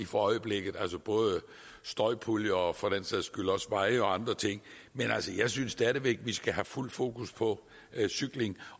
for øjeblikket altså både om støjpuljer og for den sags skyld også veje og andre ting men altså jeg synes stadig væk vi skal have fuldt fokus på cykling